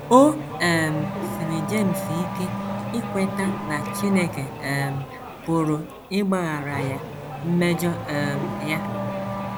O um siiri James ike ikweta na Chineke um pụrụ ịgbaghara ya mmejọ um ya.